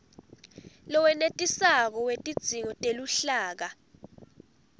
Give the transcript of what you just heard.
lowenetisako wetidzingo teluhlaka